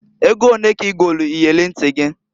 Ego onee ka i golu iyeli nti gị?